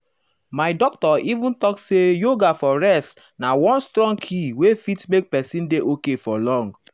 my doctor even talk say yoga for rest na one strong key wey fit make person dey okay for long.